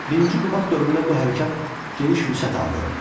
Birinci Qubad dövründə bu hərəkat geniş vüsət aldı.